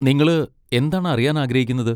നിങ്ങള് എന്താണ് അറിയാൻ ആഗ്രഹിക്കുന്നത്?